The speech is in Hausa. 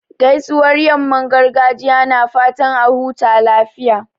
Gaisuwar yamman gargajiya na fatan a huta lafiya.